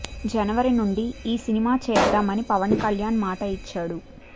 జనవరి నుండి ఈ సినిమా చేద్దామని పవన్ కళ్యాణ్ మాట ఇచ్చాడు